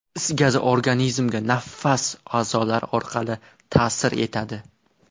Is gazi organizmga nafas a’zolari orqali ta’sir etadi.